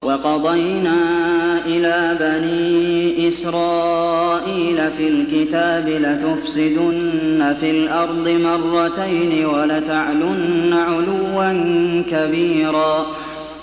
وَقَضَيْنَا إِلَىٰ بَنِي إِسْرَائِيلَ فِي الْكِتَابِ لَتُفْسِدُنَّ فِي الْأَرْضِ مَرَّتَيْنِ وَلَتَعْلُنَّ عُلُوًّا كَبِيرًا